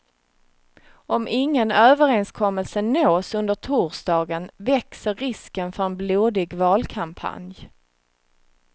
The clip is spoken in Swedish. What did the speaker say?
Om ingen överenskommelse nås under torsdagen växer risken för en blodig valkampanj.